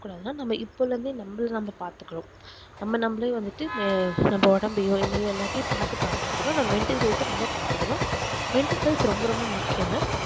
இருக்க கூடாதுனா நம்மள நம்ம பாத்துக்கணும் நம்ம நம்மளே வந்துட்டு நம்ம ஒடம்பையோ எல்லாத்தையும் பாத்துக்க ஆரம்பிக்கணும் நம்ம mental health ஆஹ் இன்னும் பாத்துக்கணும் mental health ரொம்ப ரொம்ப முக்கியம்